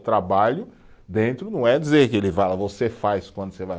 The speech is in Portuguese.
O trabalho dentro não é dizer que ele fala, você faz quando você vai.